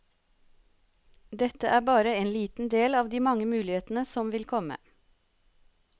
Dette er bare liten del av de mange mulighetene som vil komme.